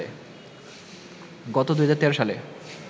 গত ২০১৩ সালে